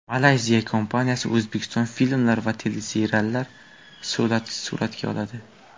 Malayziya kompaniyasi O‘zbekiston filmlar va teleseriallar suratga oladi.